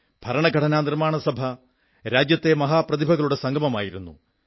ഭരണഘടനാ നിർമ്മാണ സഭ രാജ്യത്തെ മഹാപ്രതിഭകളുടെ സംഗമമായിരുന്നു